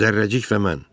Zərrəcik və mən.